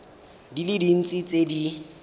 di le dintsi tse di